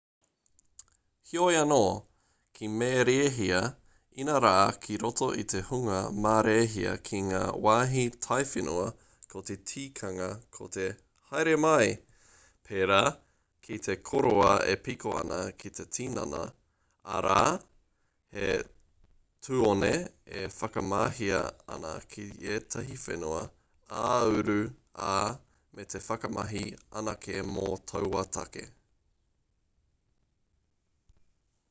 heoi anō ki marēhia inarā ki roto i te hunga marēhia ki ngā wāhi taiwhenua ko te tikanga ko te haere mai pērā ki te kōroa e piko ana ki te tinana arā he tuone e whakamahia ana ki ētahi whenua ā-uru ā me whakamahi anake mō taua take